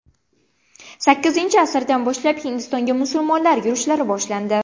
Sakkizinchi asrdan boshlab Hindistonga musulmonlar yurishlari boshlandi.